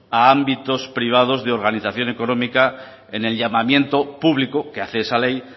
a ámbitos privados de organización económica en el llamamiento público que hace esa ley